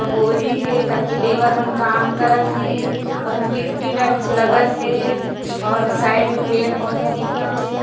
अ बोरी हे कद के लेबर मन करत हे और गिट्टी टाइप्स से लगत हे अऊ साइड में पेड़-पौधा दिखत हे।